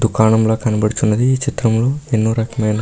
దుకాణంలో కనపడుచున్నది ఈ చిత్రంలో ఎన్నో రకమైన --